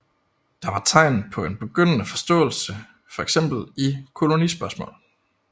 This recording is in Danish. Der var dog tegn på en begyndende forståelse fx i kolonispørgsmål